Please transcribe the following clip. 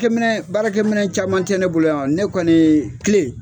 kɛ minɛn baarakɛ minɛn caman tɛ ne bolo yan ne kɔni